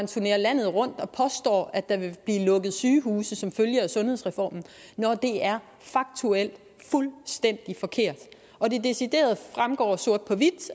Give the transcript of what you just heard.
turnerer landet rundt og påstår at der vil blive lukket sygehuse som følge af sundhedsreformen når det er faktuelt fuldstændige forkert det fremgår sort på hvidt